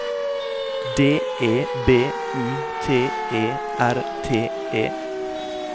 D E B U T E R T E